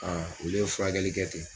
olu ye furakɛli kɛ ten.